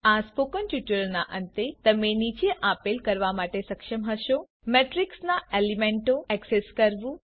આ સ્પોકન ટ્યુટોરીયલના અંતે તમે નીચે આપેલ કરવા માટે સમક્ષ હશો મેટ્રિક્સ ના એલીમેન્ટો ઍક્સેસ કરવું